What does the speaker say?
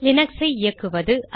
லீனக்ஸை இயக்குவது